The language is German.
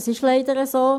Dies ist leider so.